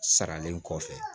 Saralen kɔfɛ